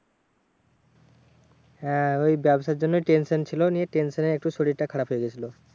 হ্যাঁ ওই ব্যাবসার জন্যই tension ছিল। নিয়ে tension এ একটু শরীরটা খারাপ হয়ে গেছিলো।